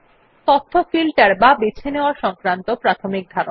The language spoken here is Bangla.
তথ্য ফিল্টার বা বেছে নেওযা সংক্রান্ত প্রাথমিক ধারণা